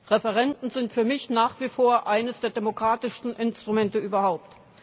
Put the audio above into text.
Referenden sind für mich nach wie vor eines der demokratischsten Instrumente überhaupt.